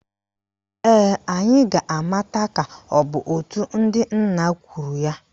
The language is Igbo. Ee, anyị ga-amata ka ọ bụ òtù ndị nna kwuru ya